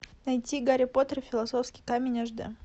найти гарри поттер и философский камень аш дэ